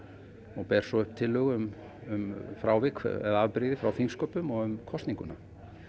og ber svo upp tillögu um um frávik eða afbrigði frá þingsköpum og um kosninguna